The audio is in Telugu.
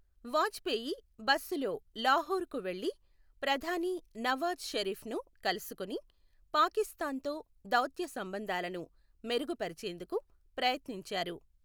వాజ్పేయి బస్సులో లాహోర్కు వెళ్లి ప్రధాని నవాజ్ షరీఫ్ను కలుసుకుని, పాకిస్థాన్తో దౌత్య సంబంధాలను మెరుగుపరిచేందుకు ప్రయత్నించారు.